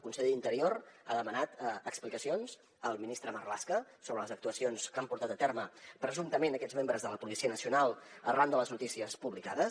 el conseller d’interior ha demanat explicacions al ministre marlaska sobre les actuacions que han portat a terme presumptament aquests membres de la policia nacional arran de les notícies publicades